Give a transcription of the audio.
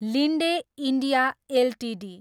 Linde India Ltd